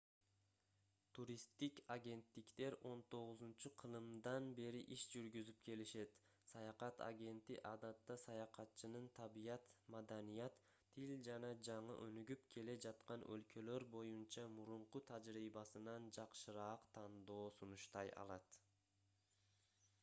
туристтик агенттиктер 19-кылымдан бери иш жүргүзүп келишет саякат агенти адатта саякатчынын табият маданият тил жана жаңы өнүгүп келе жаткан өлкөлөр боюнча мурунку тажрыйбасынан жакшыраак тандоо сунуштай алат